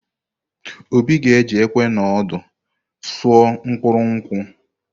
Obi ga-eji ìkwé na òdù usò mkpuru nkwụ.